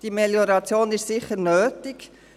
Die Melioration ist sicher nötig.